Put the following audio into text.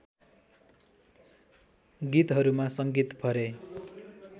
गीतहरूमा सङ्गीत भरे